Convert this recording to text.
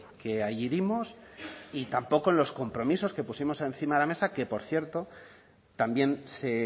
que allí dimos y tampoco en los compromisos que pusimos encima de la mesa que por cierto también se